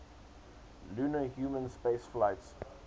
lunar human spaceflights